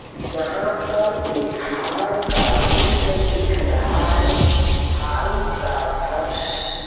यहाँ पर एक हॉल का चित्र दिख रहा है। हॉल का फर्श --